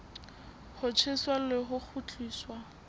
ho tjheswa le ho kgutliswa